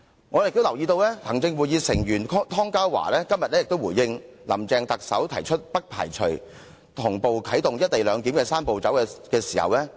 我也留意到行政會議成員湯家驊今天就特首"林鄭"提出不排除同步啟動"一地兩檢""三步走"的回應。